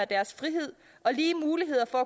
deres frihed og lige mulighed for